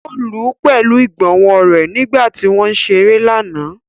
O lù u pẹlu igbonwo rẹ nigba ti wọn ǹ ṣere lana.